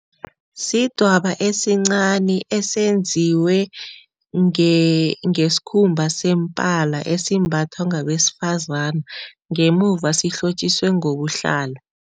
Sidwaba esincani esenziwe ngesikhumba sempala esimbathwa ngabesifazana ngemuva sihlotjwiswe ngobuhlalu.